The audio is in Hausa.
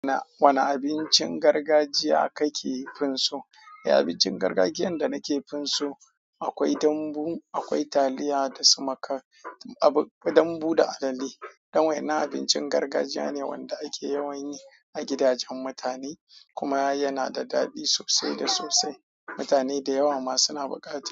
Wane abincin gargajiya kake fin so? E, abincin gargajiyan da nake fin so akwai dambu, akwai taliya da sumakar, dambu da alale. Dan wa'ennan abincin gargajiya ne wanda ake yawan yi a gidajen mutane, kuma yana da daɗi sosai da sosai. Mutane da yawa ma suna buƙata.